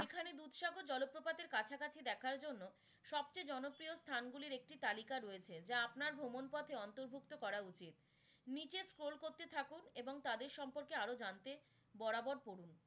এখানে দুধ সাগর জলপ্রপাতের কাছাকাছি দেখার জন্য সবচেয়ে জনপ্রিয় স্থান গুলির একটি তালিকা রয়েছে, যা আপনার ভ্রমণ পথে অন্তর্ভুক্ত করা উচিত। নিচে scroll করতে থাকুন এবং তাদের সম্পর্কে আরও জানতে বরাবর পড়ুন।